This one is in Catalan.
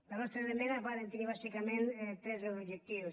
les nostres esmenes varen tenir bàsicament tres objectius